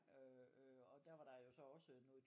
Øh øh og der var der så også noget